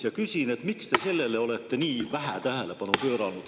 Ja küsin, miks te olete sellele eelnõus nii vähe tähelepanu pööranud.